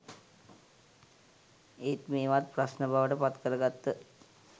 ඒත් මේවත් ප්‍රශ්න බවට පත්කරගත්ත